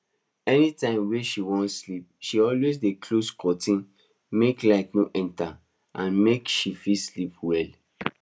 anytime wey she wan sleep she always dey close curtain make light no enter and make she fit rest well